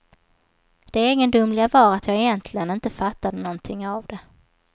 Det egendomliga var att jag egentligen inte fattade någonting av det.